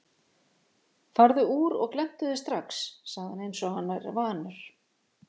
Farðu úr og glenntu þig strax, segir hann einsog hann er vanur.